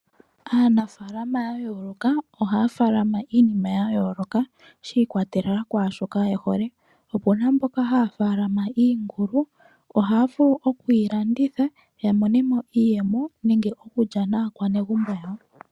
Aanafaalama ya yooloka ohaya faalama iinima ya yooloka shi ikwatelela kwashoka yehole, opuna mboka haya faalama iingulu ohaya vulu okuyi landitha yamone mo iiyemo nenge okulya naakwanezimo yawo.